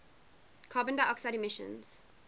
carbon dioxide emissions